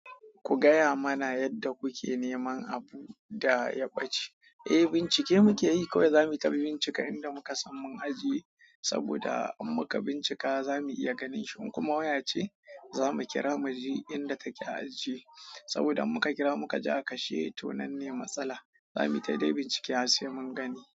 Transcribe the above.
Ku gaya mana yadda kuke neman abu da ya ɓace. Eh bincike muke yi, kawai za muyi ta bincika inda muka san mun ajiye saboda in muka bincika za mu iya ganin shi. In kuma waya ce, za mu kira muji inda take ajiye. Saboda in muka kira muka ji a kashe, to nan ne matsala. Za mu yi ta dai bincike har sai mun gani.